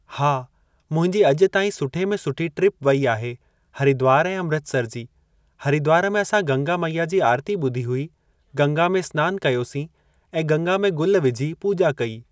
हा, मुंहिंजी अॼु ताईं सुठे में सुठी ट्रिप वेई आहे हरिद्वार ऐं अमृतसर जी। हरिद्वार में असां गंगा मैया जी आरती ॿुधी हुई। गंगा में इस्नान कयोसीं ऐं गंगा में गुल विझी पूॼा कई।